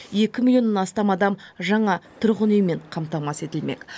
екі миллионнан астам адам жаңа тұрғын үймен қамтамасыз етілмек